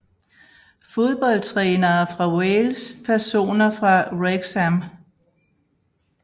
Fodboldtrænere fra Wales Personer fra Wrexham